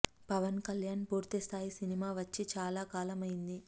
పవన్ కళ్యాణ్ పూర్తి స్థాయి సినిమా వచ్చి చాలా కాలం అయ్యింది